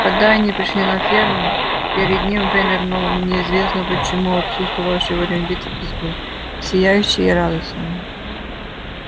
когда они пришли на ферму перед ним вынырнул неизвестно почему отсутствовавший во время битвы визгун сияющий и радостный